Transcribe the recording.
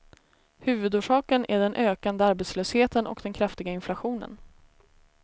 Huvudorsaken är den ökande arbetslösheten och den kraftiga inflationen.